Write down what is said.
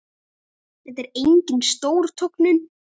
Þetta er engin stór tognun.